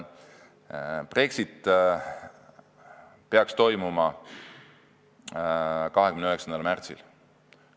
Brexit peaks toimuma 29. märtsil.